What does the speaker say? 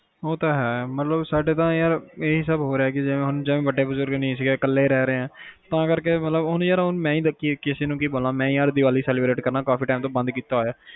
ਉਹ ਤਾ ਹੈ ਮਤਲਬ ਸਾਡੇ ਤਾ ਯਾਰ ਇਹ ਸਬ ਹੋ ਰਿਹਾ ਜਿਵੇ ਹੁਣ ਜਿਵੇ ਕਿ ਵੱਡੇ ਬੁਜੁਰਗ ਨੀ ਹੈ ਕੱਲਾ ਰਿਹ ਰਿਹਾ ਤਾ ਕਰਕੇ ਮਤਲਬ ਕ ਹੁਣ ਯਾਰ ਹੁਣ ਮੈਂ ਹੁਣ ਕਿਸੇ ਨੂੰ ਕੀ ਬੋਲਾ ਮੈਂ ਹੁਣ ਹਰ ਦੀਵਾਲੀ celbrate ਕਰਨਾ ਕਾਫੀ time ਤੋਂ ਬੰਦ ਕੀਤਾ ਹੋਇਆ